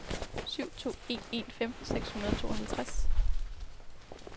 syv to en en femten seks hundrede og tooghalvtreds